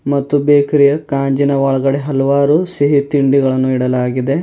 ಮತ್ತು ಬೇಕರಿಯ ಕಾಜಿನ ಒಳಗಡೆ ಹಲವಾರು ಸಿಹಿ ತಿಂಡಿಗಳನ್ನು ಇಡಲಾಗಿದೆ.